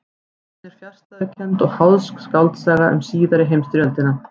Bókin er fjarstæðukennd og háðsk skáldsaga um síðari heimstyrjöldina.